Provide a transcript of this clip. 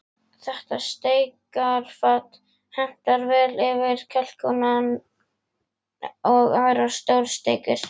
Þetta steikarfat hentar vel fyrir kalkúnann og aðrar stórsteikur.